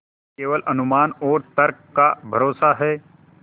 केवल अनुमान और तर्क का भरोसा है